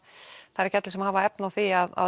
það eru ekki allir sem hafa efni á því að